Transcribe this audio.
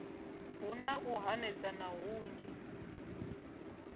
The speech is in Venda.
hu na u hanedzana hunzhi